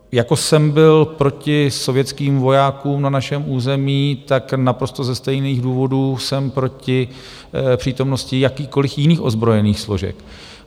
Jako jsem byl proti sovětským vojákům na našem území, tak naprosto ze stejných důvodů jsem proti přítomnosti jakýkoliv jiných ozbrojených složek.